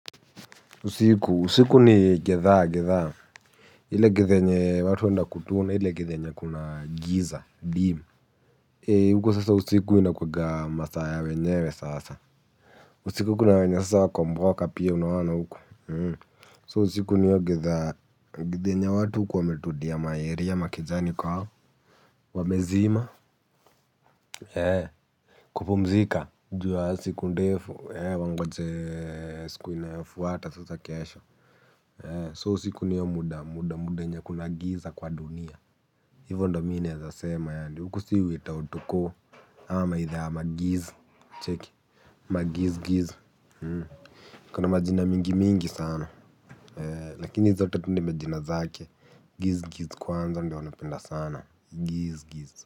Usiku, usiku ni gizaa gizaa ile githa yenye watu wanakutuna, ile githa yenye kuna giza, dim huko sasa usiku inakuanga masaa ya wenyewe sasa. Usiku kuna wenye sa wako mboka pia unaona huku, So usiku ni hiyo githaa, githa yenye watu hukuwa wametudia ma area, makejani kwao. Wamezima. Kupumzika juu ya siku ndefu, wangojee siku inayofuata sasa kesho So siku niyo muda muda muda yenye kuna giza kwa dunia. Hivo ndo mi naeza sema yaani huku si witown tuko ama itha ya magiz cheki magiz giz kuna majina mingi mingi sana lakini zote tu ni majina zake giz giz kwanza ndio anapenda sana giz giz.